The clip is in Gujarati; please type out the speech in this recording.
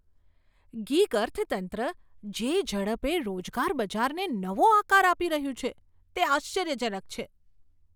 ગિગ અર્થતંત્ર જે ઝડપે રોજગાર બજારને નવો આકાર આપી રહ્યું છે, તે આશ્ચર્યજનક છે.